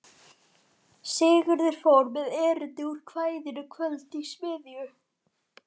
Sigurður fór með erindi úr kvæðinu Kvöld í smiðju